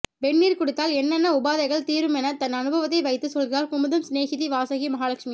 வெந்நீர் குடித்தால் என்னென்ன உபாதைகள் தீருமென்று தன் அனுபவத்தை வைத்துச் சொல்கிறார் குமுதம் சினேகிதி வாசகி மகாலட்சுமி